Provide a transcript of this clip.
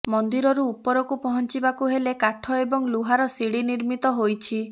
ମନ୍ଦିରରୁ ଉପରକୁ ପହଞ୍ଚିବାକୁ ହେଲେ କାଠ ଏବଂ ଲୁହାର ଶିଡ଼ି ନିର୍ମିତ ହୋଇଛି